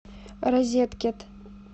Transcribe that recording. розеткед